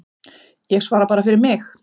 Ég svara bara fyrir mig.